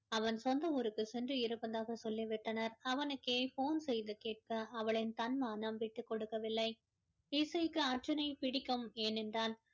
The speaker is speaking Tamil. அவன் சொந்த ஊருக்கு சென்று இருப்பதாக சொல்லி விட்டனர் அவனுக்கே phone செய்து கேட்க அவளின் தன்மானம் விட்டுக் கொடுக்கவில்லை இசைக்கு அர்ஜுனை பிடிக்கும் ஏனென்றால்